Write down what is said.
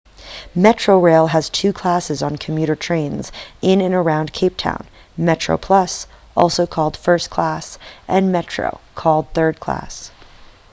metrorail has two classes on commuter trains in and around cape town: metroplus also called first class and metro called third class